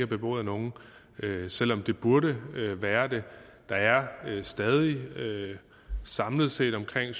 beboet af nogen selv om de måske burde være det der er stadig samlet set omkring